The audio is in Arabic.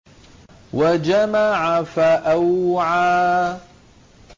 وَجَمَعَ فَأَوْعَىٰ